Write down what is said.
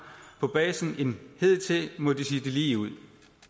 på basen end hidtil må de sige det ligeud